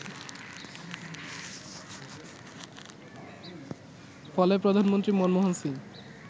ফলে প্রধানমন্ত্রী মনমোহন সিং